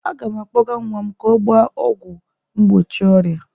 Aga m akpọga nwa m ka ọ gbaa ọgwụ mgbochi ọrịa.